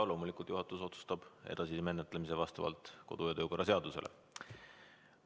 Loomulikult otsustab juhatus selle edasise menetlemise vastavalt kodu‑ ja töökorra seadusele.